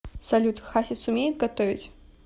салют хасис умеет готовить